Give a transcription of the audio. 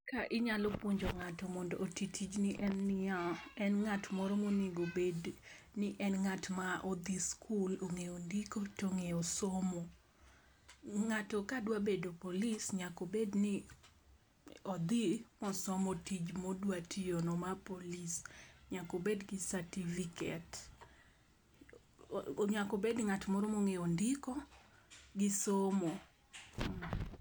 Ka inyalo puonjo ng'ato mondo oti tijni en niya en ng'at moro monego bed ni en ng'at modhi skul ong'eyo ndiko tong'eyo somo . Ng'ato ka dwa bedo polis nyako bed ni odhi osom tij modwa tiyo no mar polis . Nyako bed gi certificate, nyako bed ng'at moro mong'eyo ndiko gi somo.